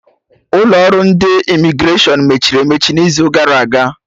Ụlọ ọrụ ndị Imigreshọn mechiri emechi n'izu gara aga